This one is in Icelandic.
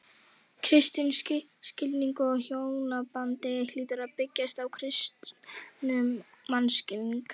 Kristinn skilningur á hjónabandinu hlýtur að byggjast á kristnum mannskilningi.